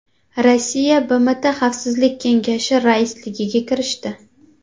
Rossiya BMT Xavfsizlik kengashi raisligiga kirishdi.